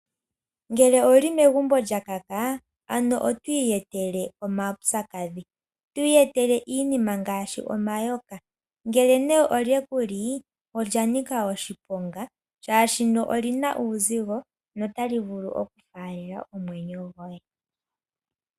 Ngele owu li megumbo lya kaka otwiiyetele omaupyakadhi, twiiyetele iinima ngaashi omayoka ngele ne olye ku li olya nika oshiponga oshoka oli na uuzigo nota li vulu okufalela omwenyo goye.